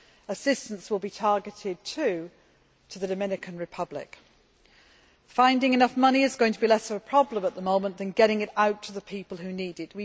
Assistance will be targeted, too, to the Dominican Republic. Finding enough money is going to be less of a problem at the moment than getting it out to the people who need it.